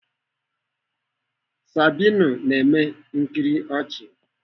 Sabinus na-eme nkiri ọchị.